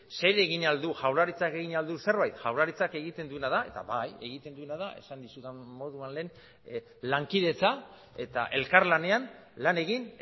zer egin ahal du jaurlaritzak egin ahal du zerbait jaurlaritzak egiten duena da esan dizudan moduan lehen lankidetza eta elkarlanean lan egin